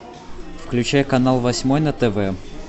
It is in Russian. включай канал восьмой на тв